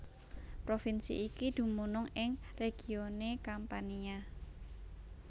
Provinsi iki dumunung ing regione Campania